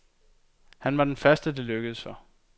Han var den første, det lykkedes for.